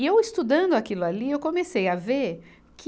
E eu, estudando aquilo ali, eu comecei a ver que